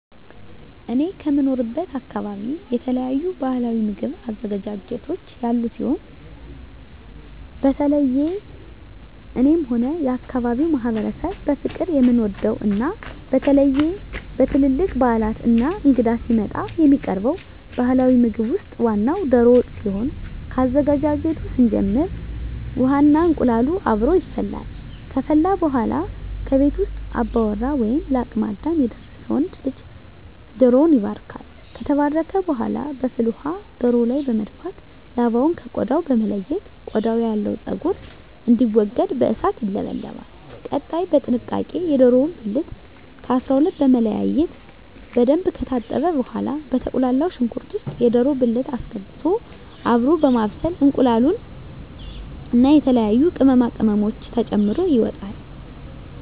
እኔ ከምኖርበት አካበቢ የተለያዩ ባህላዊ ምግብ አዘገጃጀቶች ያሉ ሲሆን በተለየ እኔም ሆነ የአካባቢዉ ማህበረሰብ በፍቅር የምንወደው እና በተለየ በትልልቅ ባህላት እና እንግዳ ሲመጣ የሚቀርበው ባህላዊ ምግብ ውስጥ ዋናው ደሮ ወጥ ሲሆን ከአዘገጃጀቱ ስንጀምር ውሃ እና እንቁላሉ አብሮ ይፈላል ከፈላ በኃላ ከቤት ውስጥ አባወራ ወይም ለአቅመ አዳም የደረሰ ወንድ ልጅ ደሮዉን ይባርካል። ከተባረከ በኃላ በፍል ውሃው ደሮው ላይ በመድፋት ላባውን ከ ቆዳው በመለየት ቆዳው ያለው ፀጉር እንዲወገድ በእሳት ይለበለባል። ቀጣይ በጥንቃቄ የደሮውን ብልት ከ 12 በመለያየት በደንብ ከታጠበ በኃላ በተቁላላው ሽንኩርት ውስጥ የደሮ ብልት አስገብቶ አብሮ በማብሰል እንቁላሉን እና የተለያዩ ቅመማ ቅመሞችን ተጨምሮ ይወጣል።